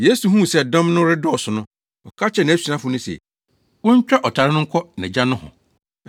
Yesu huu sɛ dɔm no redɔɔso no, ɔka kyerɛɛ nʼasuafo no se, wontwa ɔtare no nkɔ nʼagya nohɔ.